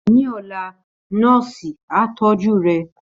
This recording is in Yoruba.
Ní ọ̀la, nọ́ọ̀sì á tọ́jú rẹ̀